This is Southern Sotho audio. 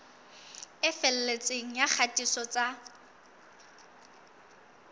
e felletseng ya kgatiso tsa